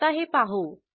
आता हे पाहू